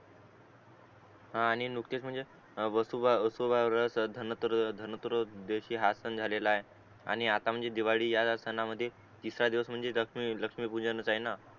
हा आणि नुकतेच म्हणजे वासूब वासूब घ्रह चा धनत्रयो धनत्रयोदशी हा सण झालेलय आणि आता म्हणजे दिवाळी हा सनामध्ये तिसरा दिवस म्हणजे लक्ष्मी लक्ष्मी पूजन